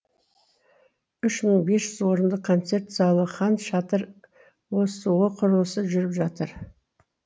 үш мың бес жүз орындық концерт залы хан шатыр осо құрылысы жүріп жатыр